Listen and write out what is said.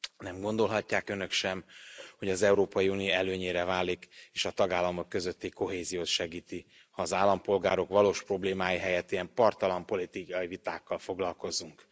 Nem gondolhatják Önök sem, hogy az Európai Unió előnyére válik és a tagállamok közötti kohéziót segíti, ha az állampolgárok valós problémái helyett ilyen parttalan politikai vitákkal foglalkozunk.